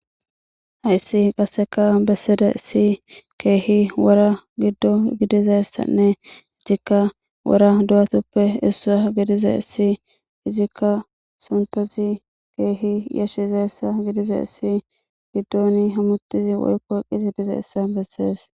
hayssi qasseka bessidaysi keehi wora giddo gidizayssanne hessikka wora du7atuppe essaa gidize issi izikka suntozi keehi yashshizeessa gidize issi giddoni hammutizi woykko qizi dizeessa bessees